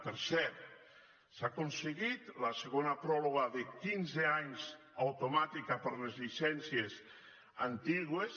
per cert s’ha aconseguit la segona pròrroga de quinze anys automàtica per a les llicències antigues